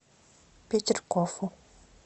петергофу